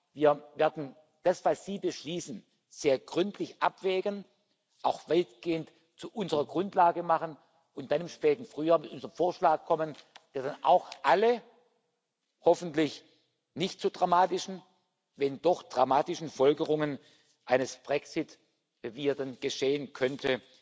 Wir werden das, was Sie beschließen, sehr gründlich abwägen, auch weitgehend zu unserer Grundlage machen und dann im späten Frühjahr mit unserem Vorschlag kommen, der dann auch alle hoffentlich nicht zu dramatischen, wenn doch dramatischen Folgerungen aus dem Brexit, wie er dann geschehen könnte,